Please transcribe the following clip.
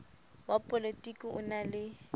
wa polotiki o na le